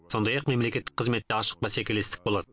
сондай ақ мемлекеттік қызметте ашық бәсекелестік болады